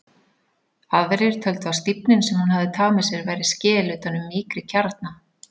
Aðrir töldu að stífnin sem hún hafði tamið sér væri skel utan um mýkri kjarna.